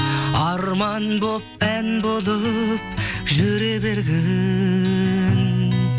арман болып ән болып жүре бергін